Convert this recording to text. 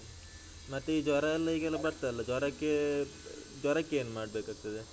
ಮತ್ತೆ ಈ ಜ್ವರ ಎಲ್ಲ ಈಗೆಲ್ಲ ಬರ್ತದಲ್ಲ ಜ್ವರಕ್ಕೆ ಅಹ್ ಜ್ವರಕ್ಕೇನು ಮಾಡ್ಬೇಕಾಗ್ತದೆ?